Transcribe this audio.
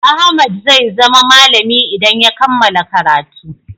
Ahmad zai zama malami idan ya kammala karatu.